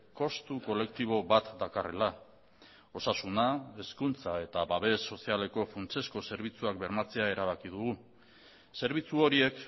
kostu kolektibo bat dakarrela osasuna hezkuntza eta babes sozialeko funtsezko zerbitzuak bermatzea erabaki dugu zerbitzu horiek